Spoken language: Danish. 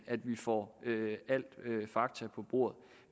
at vi får alle fakta på bordet